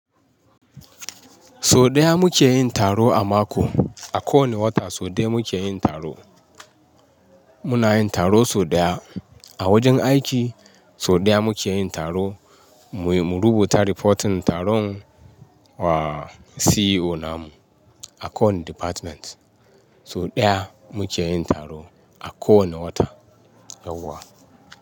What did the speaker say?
So ɗaya muke yin taro a mako. A kowane wata so ɗaya muke yin taro. Muna yin taro so ɗaya. A wajen aiki so ɗaya muke yin taro. Mu, mu rubuta riboton taron wa CEO namu a kowane department. So ɗaya muke yin taro a kowane wata. Yauwa.